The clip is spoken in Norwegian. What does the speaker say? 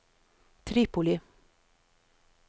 Tripoli